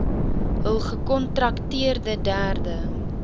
hul gekontrakteerde derde